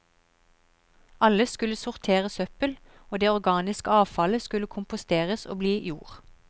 Alle skulle sortere søppel, og det organiske avfallet skulle komposteres og bli jord.